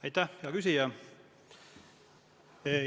Aitäh, hea küsija!